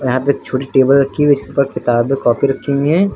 यहां पे एक छोटी टेबल रखी हुई है जिस पर किताबें कापी रखी हुई हैं।